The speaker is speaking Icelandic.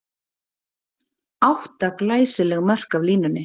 Átta glæsileg mörk af línunni!